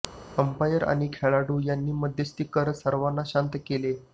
umpire आणि खेळाडू यांनी मध्यस्थी करत सर्वांना शांत केले